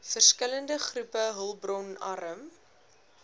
verskillende groepe hulpbronarm